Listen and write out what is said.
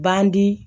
Bandi